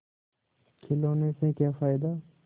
खिलौने से क्या फ़ायदा